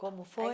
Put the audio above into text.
Como foi?